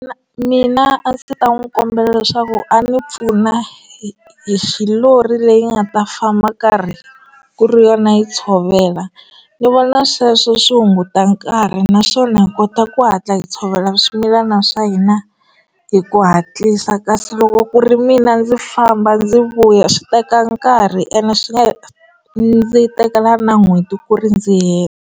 Mina a ndzi ta n'wi kombela leswaku a ni pfuna hi hi xi lori leyi nga ta famba karhi ku ri yona yi tshovela ni vona sweswo swi hunguta nkarhi naswona kota ku hatla hi tshovela swimilana swa hina hi ku hatlisa kasi loko ku ri mina ndzi famba ndzi vuya swi teka nkarhi ene swi nga ndzi tekela na n'hweti ku ri ndzi heta.